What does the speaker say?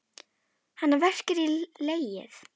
Hana verkjar í legið.